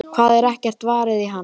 Það er ekkert varið í hana.